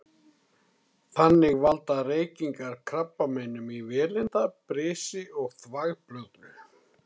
Þannig valda reykingar krabbameinum í vélinda, brisi og þvagblöðru.